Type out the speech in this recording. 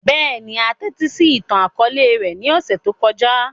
Bẹ́ẹ̀ni, a tẹtisi itan-akọọlẹ rẹ ni ọsẹ to kọja.